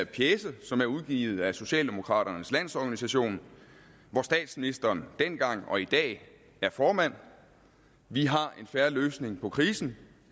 pjece som er udgivet af socialdemokraternes organisation hvor statsministeren dengang var og i dag er formand vi har en fair løsning på krisen